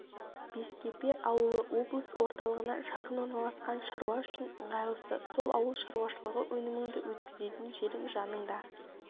бескепе ауылы облыс орталығына жақын орналасқан шаруа үшін ыңғайлысы сол ауыл шаруашылығы өніміңді өткізетін жерің жаныңда